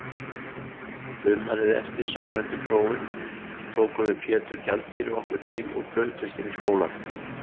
Sumarið eftir samræmdu prófin tókum við Pétur gjaldkeri okkur til og brutumst inn í skólann.